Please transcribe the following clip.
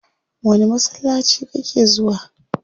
Wani masallaci kake zuwa?